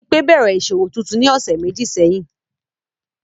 Bimpe bẹrẹ iṣowo tuntun ni ọsẹ meji sẹhin.